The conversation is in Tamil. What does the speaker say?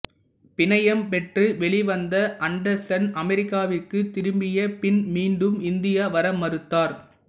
பிணையம் பெற்று வெளிவந்த அண்டர்சன் அமெரிக்காவிற்கு திரும்பிய பின் மீண்டும் இந்தியா வர மறுத்தார்